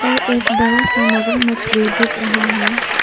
और एक बरा सा मगरमच्छ भी दिख रहा है।